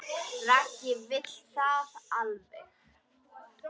Raggi vill það alveg.